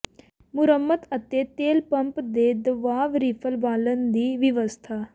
ਮੁਰੰਮਤ ਅਤੇ ਤੇਲ ਪੰਪ ਦੇ ਦਬਾਅ ਰਿਲੀਫ ਵਾਲਵ ਦੀ ਵਿਵਸਥਾ